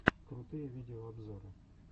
крутые видеообзоры